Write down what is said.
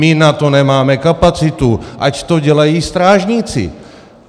My na to nemáme kapacitu, ať to dělají strážníci.